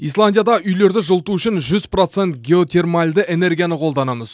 исландияда үйлерді жылыту үшін жүз процент геотермальды энергияны қолданамыз